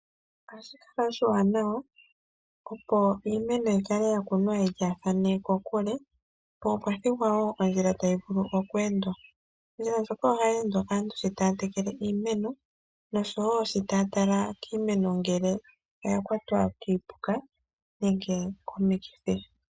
Ohashi kala oshiwanawa opo iimeno yi kale ya kunwa yilyaathane kokule, opo mukale oondjila tadhi vulu okweendwa. Ondjila ndjoka ohayi endwa kaantu sho taya tekele iimeno noshowo sho taya tala kiimeno ngele oya kwatwa kiipuka nenge komikithi.